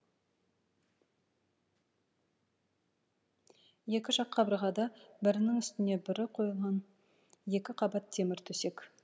екі жақ қабырғада бірінің үстіне бірін қойылған екі қабат темір төсек